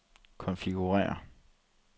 konfigurér